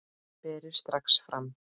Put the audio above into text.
Berið strax fram.